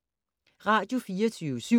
Radio24syv